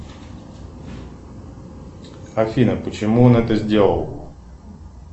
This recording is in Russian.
афина почему он это сделал